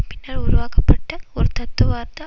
பின்னர் உருவாக்கப்பட்ட ஒரு தத்துவார்த்த